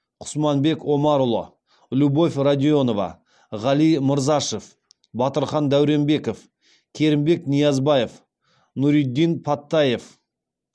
құсманбек омарұлы любовь радионова ғали мырзашев батырхан дәуренбеков керімбек ниязбаев нуриддин паттаев